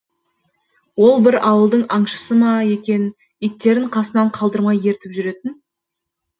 ол бір ауылдың аңшысы ма екен иттерін қасынан қалдырмай ертіп жүретін